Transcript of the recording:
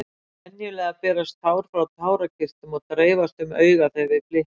Venjulega berast tár frá tárakirtlum og dreifast um augað þegar við blikkum.